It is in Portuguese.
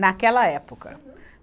naquela época. Uhum